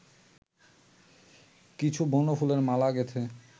কিছু বনফুলের মালা গেঁথে